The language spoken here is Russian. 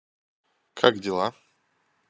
как дела